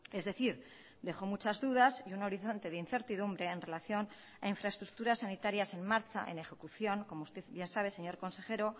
es decir dejo muchas dudas y un horizonte de incertidumbre en relación a infraestructuras sanitarias en marcha en ejecución como usted bien sabe señor consejero